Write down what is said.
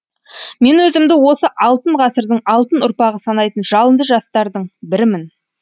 мен өзімді осы алтын ғасырдың алтын ұрпағы санайтын жалынды жастардың бірімін